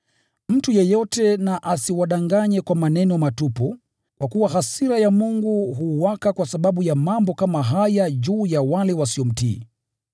Mtu yeyote na asiwadanganye kwa maneno matupu, kwa kuwa hasira ya Mungu huwaka kwa sababu ya mambo kama haya juu ya wale wasiomtii.